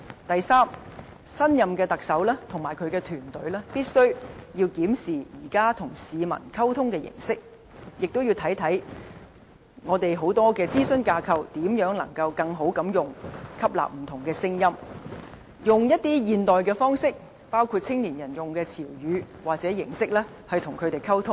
第三，新一任特首及其團隊必須檢視現時與市民溝通的形式，亦要檢視如何善用我們眾多的諮詢架構，吸納不同聲音，採用一些現代的方式，包括青年人使用的詞語或形式，與他們溝通。